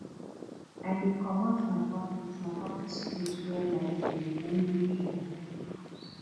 i dey comot my office my office cloth wear light cloth immediately i enta house